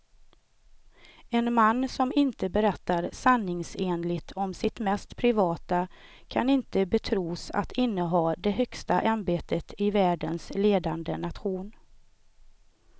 En man som inte berättar sanningsenligt om sitt mest privata kan inte betros att inneha det högsta ämbetet i världens ledande nation.